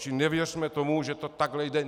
Čili nevěřme tomu, že to takhle jde.